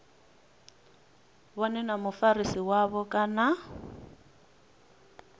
vhone na mufarisi wavho kana